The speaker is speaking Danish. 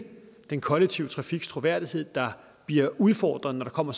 den kollektive trafiks troværdighed der bliver udfordret når der kommer